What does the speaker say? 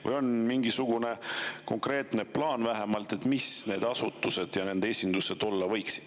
Kas on mingisugune konkreetne plaan, mis asutused ja nende esindused need olla võiksid.